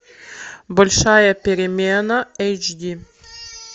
большая перемена эйч ди